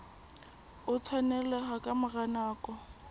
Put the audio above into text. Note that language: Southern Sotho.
o tshwaneleha ka mora nako